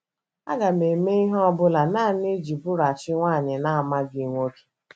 Aga m eme ihe ọ bụla nanị iji bụrụghachi nwanyị na - amaghị nwoke. ”